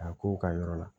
A ko u ka yɔrɔ la